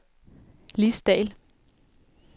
Lis Dahl